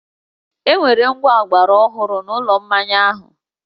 E nwere ngwá ọgbaraọhụrụ n’ụlọ mmaya ahụ